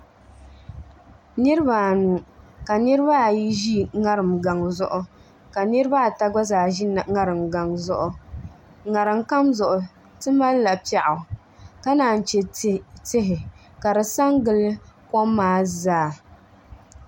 Niraba anu ka niraba ayi ʒi ŋariŋ gaŋ zuɣu ka niraba ata gba ʒi ŋariŋ gaŋ zuɣu ŋarim kam zuɣu ti malila piɛɣu ka naan chɛ tihi ka di sa n gili kom maa zaa